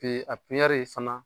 a fana.